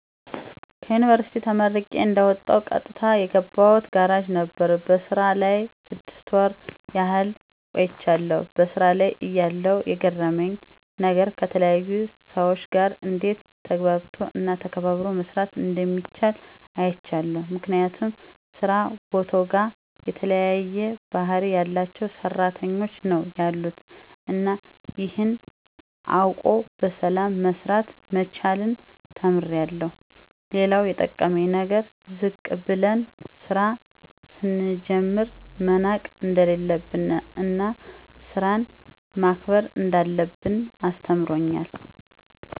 ከዩንቨርስቲ ተመርቄ እንደወጣሁ ቀጥታ የገባሁት ጋራጅ ነበር። በስራው ላይ ስድስት ወር ያህል ቆይቻለሁ። በሥራ ላይ እያለሁ የገረመኝ ነገር ከተለያየ ሰው ጋር እንዴት ተግባብቶ እና ተከባብሮ መስራት እንደሚቻል አይቻለሁ። ምክንያቱም ስራ ቦታውጋ የተለያየ ባህሪ ያላቸው ሰራተኞች ነው ያሉት እና ይሄን አውቆ በሰላም መስራት መቻልን ተምሬአለሁ። ሌላው የጠቀመኝ ነገር ዝቅ ብለን ስራ ስንጀምር መናቅ እንደሌለብን እና ስራን ማክበር እንዳለብን አስተምሮኛል።